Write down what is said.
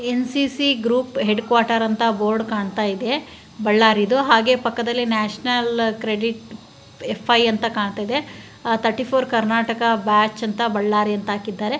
NCC group headquarter ಅಂತ board ಕಾಣ್ತಾ ಇದೆ ಬಳ್ಳಾರಿದು ಹಾಗೆ ಪಕ್ಕದಲ್ಲಿ ನೇಷನ್ ಕ್ರೆಡಿಟ್ ಫೈವ್ ಅಂತ ಕಾಣ್ತಾ ಇದೆ ಥರ್ಟಿಫೊರ ಕರ್ನಾಟಕ ಬ್ಯಾಚ ಅಂತ ಬಳ್ಳಾರಿ ಅಂತ ಹಾಕಿದ್ದಾರೆ .